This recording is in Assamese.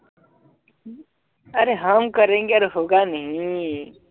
आरे हम करेंगे अर हौगा नही